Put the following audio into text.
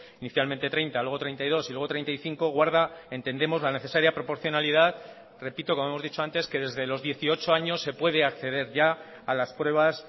inicialmente treinta luego treinta y dos y luego treinta y cinco guarda entendemos la necesaria proporcionalidad repito como hemos dicho antes que desde los dieciocho años se puede acceder ya a las pruebas